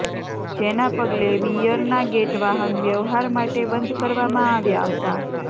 જેના પગલે વિયરના ગેટ વાહન વ્યવહાર માટે બંધ કરવામાં આવ્યા હતા